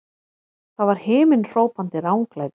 Það var himinhrópandi ranglæti!